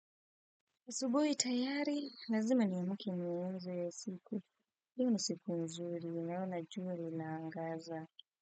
Asubuhi tayari, nazima niamke siku. Hii ni siku nzuri, naona jua linaangaza.